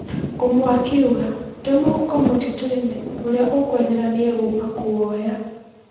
Ũmwe akiuga, "Te mũhuko mũtitũ-inĩ. Ũrĩa ekwenyera nĩ egũũka kũwoya."